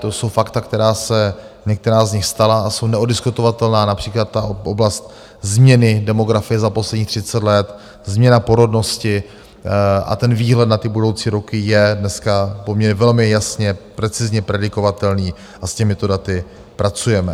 To jsou fakta, která se - některá z nich stala a jsou neoddiskutovatelná, například ta oblast změny demografie za posledních 30 let, změna porodnosti a ten výhled na ty budoucí roky je dneska poměrně velmi jasně precizně predikovatelný a s těmito daty pracujeme.